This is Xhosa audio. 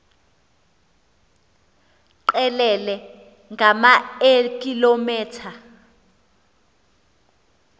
qelele ngama eekilometha